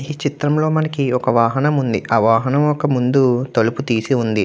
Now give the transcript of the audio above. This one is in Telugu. ఈ చిత్రంలో మనకి ఒక వాహనం ఉంది. ఆ వాహనంకి ముందు తలుపు తీసి ఉంది.